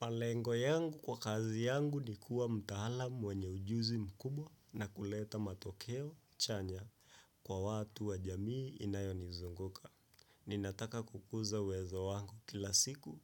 Malengo yangu kwa kazi yangu ni kuwa mtaalam mwenye ujuzi mkubwa na kuleta matokeo chanya kwa watu wa jamii inayoni zunguka. Ninataka kukuza uwezo wangu kila siku,